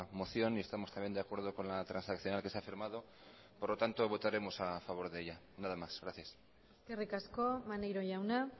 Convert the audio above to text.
moción y estamos también de acuerdo con la transaccional que se ha firmado por lo tanto votaremos a favor de ella nada más gracias eskerrik asko maneiro jauna